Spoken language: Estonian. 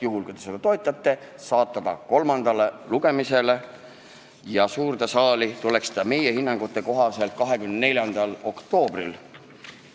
Juhul kui te seda toetate, tuleks eelnõu saata kolmandale lugemisele ja suurde saali tuleks ta meie hinnangute kohaselt 24. oktoobril.